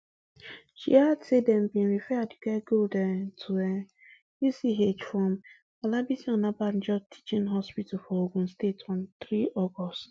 she add say dem bin refer aduke gold um to um uch from olabisi onabanjo teaching hospital for ogun state on three august